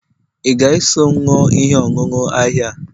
ị ga-eso m ṅụọ ihe ọṅụṅụ ahịhịa a?